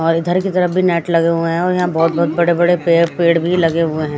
और इधर की तरफ भी नेट लगे हुए है और यहाँ बोहोत बड़े बड़े पेड़ पेड़ भी लगे हुए है।